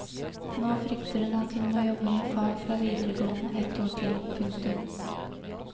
Nå frykter hun at hun må jobbe med fag fra videregående ett år til. punktum